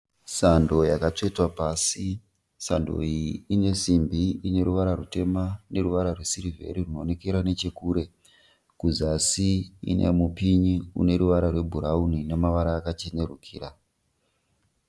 Sando yakatsetwa pasi, sando iyi inesimbi ineruvara rwutema neruvara rwesirivheri rwunoonekera nechekure. Kuzasi inemupinyi uneruvara rwebhurauni nemavara akachenerukira.